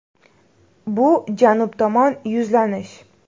Bu Janub tomon yuzlanish.